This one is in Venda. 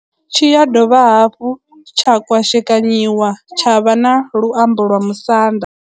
Tshi ya dovha hafhu tsha kwashekanyiwa tsha vha na luambo lwa Musanda.